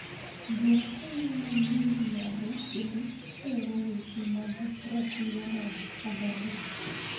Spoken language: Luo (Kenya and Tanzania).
Joratenge man yo milambo kendo sero weche mag ratiro mag oganda